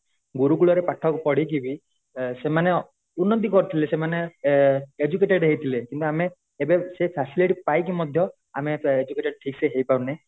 ଗୁରୁକୁଳୁରେ ପାଠ ପଢିକି ବି ସେମାନେ ଉନ୍ନତି କରିଥିଲେ ସେମାନେ ଏ educated ହେଇ ଥିଲେ କିନ୍ତୁ ଆମେ ଏବେ ସେ facility ପାଇକି ବି ମଧ୍ୟ ଆମେ educated ଠିକସେ ହେଇ ପାରୁନେ